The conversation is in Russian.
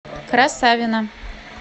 красавино